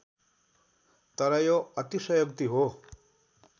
तर यो अतिशयोक्ति हो